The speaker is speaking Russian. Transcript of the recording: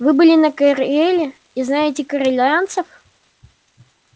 вы были на кэреле и знаете кэрелианцев